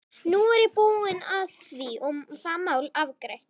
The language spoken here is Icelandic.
Nú er ég búinn að því og það mál afgreitt.